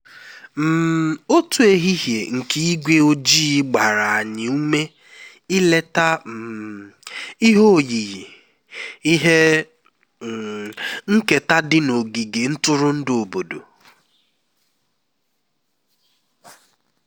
um otu ehihie nke ígwé ojii gbara anyị ume ileta um ihe oyiyi ihe um nketa dị n'ogige ntụrụndụ obodo